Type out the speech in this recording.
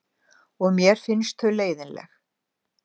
Og mér finnst þau leiðinleg.